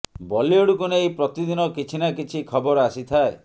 ବଲିଉଡକୁ ନେଇ ପ୍ରତିଦିନ କିଛି ନା କିଛି ଖବର ଆସିଥାଏ